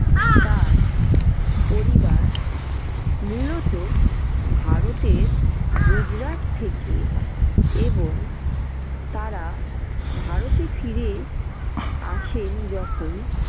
তার পরিবার মূলত ভারতের গুজরাট থেকে এবং তারা ভারতে ফিরে আসেন যখন